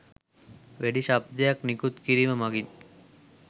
වෙඩි ශබ්දයක් නිකුත් කිරීම මගිනි.